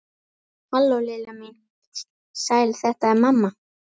Halló, Lilla mín, sæl þetta er mamma.